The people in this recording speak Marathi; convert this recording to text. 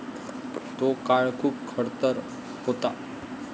तो काळ खूप खडतर होता.